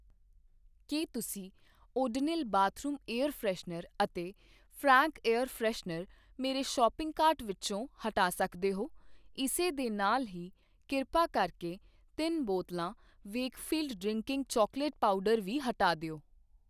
ਕੀ ਤੁਸੀਂ Odonil bathroom air freshener ਅਤੇ Frank air freshener ਮੇਰੇ ਸ਼ੌਪਿੰਗ ਕਾਰਟ ਵਿੱਚੋਂ ਹਟਾ ਸਕਦੇ ਹੋ ਇਸ ਦੇ ਨਾਲ ਹੀ ਕਿਰਪਾ ਕਰਕੇ ਤਿੰਨ ਬੋਤਲਾਂ ਵੇਕਫ਼ੀਲਡ ਡ੍ਰਿੰਕਿੰਗ ਚੌਕਲੇਟ ਪਾਊਡਰ ਵੀ ਹਟਾ ਦਿਉI